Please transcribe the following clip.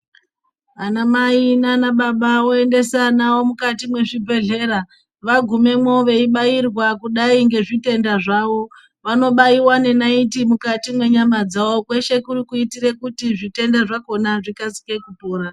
Ana Mai nanababa voendesa vana vavo mukati mwezvibhendleya. Vagumamwo veibairwa kudai ngezvitenda zvawo. Vanobaiwa nenaiti mukati mwenyama dzawo kweshe kuri kuitira kuti zvitenda zvakona zvikasike kupora.